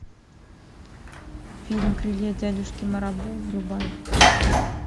фильм крылья дядюшки марабу врубай